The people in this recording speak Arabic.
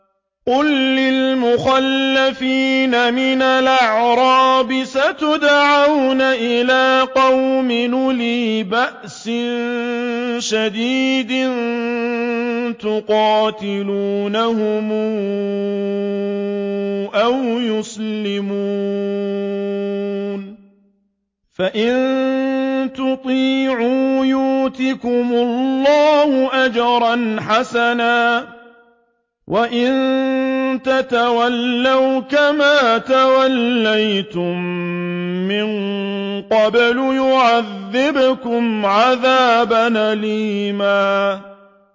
قُل لِّلْمُخَلَّفِينَ مِنَ الْأَعْرَابِ سَتُدْعَوْنَ إِلَىٰ قَوْمٍ أُولِي بَأْسٍ شَدِيدٍ تُقَاتِلُونَهُمْ أَوْ يُسْلِمُونَ ۖ فَإِن تُطِيعُوا يُؤْتِكُمُ اللَّهُ أَجْرًا حَسَنًا ۖ وَإِن تَتَوَلَّوْا كَمَا تَوَلَّيْتُم مِّن قَبْلُ يُعَذِّبْكُمْ عَذَابًا أَلِيمًا